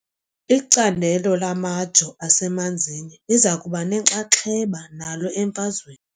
Icandelo lamajoo asemanzini liza kuba nenxaxheba nalo emfazweni .